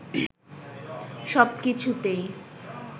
সব কিছুতেই